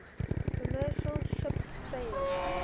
commercial ship sailed